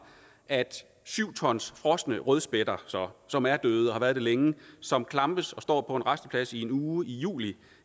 at syv tons frosne rødspætter som er døde og har været det længe som klampes og står på en rasteplads i en uge i juli